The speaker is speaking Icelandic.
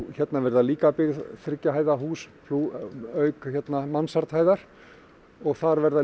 hérna verða líka þriggja hæða hús auk mansard hæðar og þar verða